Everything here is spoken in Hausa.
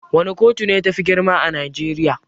Wana kotu ne tafi girma a najeriya?